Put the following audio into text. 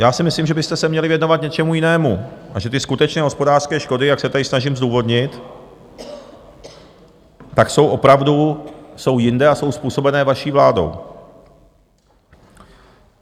Já si myslím, že byste se měli věnovat něčemu jinému a že ty skutečné hospodářské škody, jak se tady snažím zdůvodnit, tak jsou opravdu jinde a jsou způsobené vaší vládou.